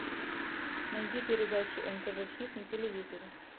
найди передачу нтв хит на телевизоре